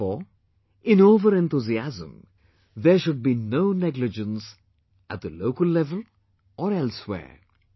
Therefore, in overenthusiasm, there should be no negligence at the local level or elsewhere